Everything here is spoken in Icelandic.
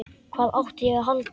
Hvað átti ég að halda?